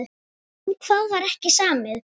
Um hvað var ekki samið?